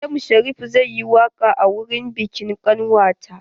M Sharif zai yi waƙa a wurin biƙin ƙanwata.